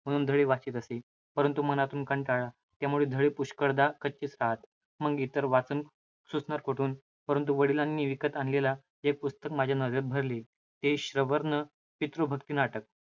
धडे वाचीत असे. परंतु मनातून कंटाळा. त्यामुळे धडे पुष्कळदा कच्चे राहत. मग इतर वाचन सुचणार कोठून? परंतु वडिलांनी विकत आणलेले एक पुस्तक माझ्या नजरेत भरले. ते श्रवर्ण पितृभक्ति नाटक.